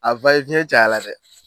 A caya la dɛ.